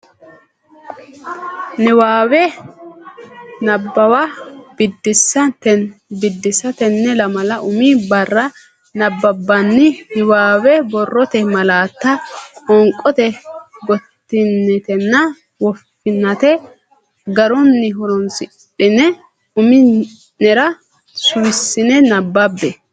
Niwaawe Nabbawa Biddisaa Tenne lamala umi barra nabbabbini niwaawe borrote malaatta qoonqote gottinaatenna woffinaate garunni horonsidhine umi nera suwissine nabbabbe.